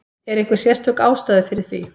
Er einhver sérstök ástæða fyrir því?